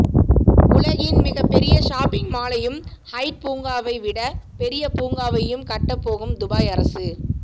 உலகின் மிகப்பெரிய ஷாப்பிங் மாலையும் ஹைட் பூங்காவை விட பெரிய பூங்காவையும் கட்டப் போகும் துபாய் அரசு